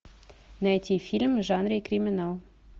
найти фильм в жанре криминал